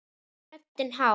Röddin hás.